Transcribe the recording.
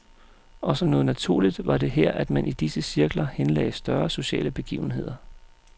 Og som noget naturligt var det her, at man i disse cirkler henlagde større sociale begivenheder.